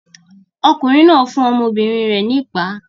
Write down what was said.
Ọkùnrin náà fún ọmọbìnrin rẹ̀ ní ìpá.